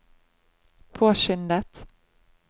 påskyndet